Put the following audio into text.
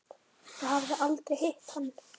Ég hafði aldrei hitt hann.